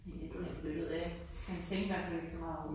Æh, det ved jeg ikke. Man tænkte i hvert fald ikke så meget over det